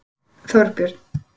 Þorbjörn